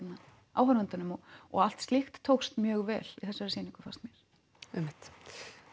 áhorfendunum og allt slíkt tókst mjög vel í þessari sýningu fannst mér einmitt